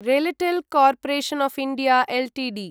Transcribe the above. RailTel corporation of India Ltd